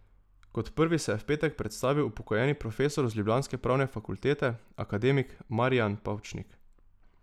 Kot prvi se je v petek predstavil upokojeni profesor z ljubljanske pravne fakultete, akademik Marijan Pavčnik.